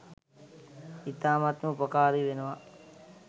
ඉතාමත්ම උපකාරී වෙනවා.